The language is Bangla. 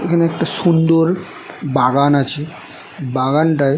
এখানে একটা সুন্দর বাগান আছে বাগানটায়--